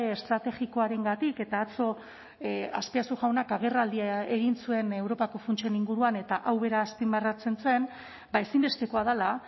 estrategikoarengatik eta atzo azpiazu jaunak agerraldia egin zuen europako funtsen inguruan eta hau bera azpimarratzen zen ba ezinbestekoa dela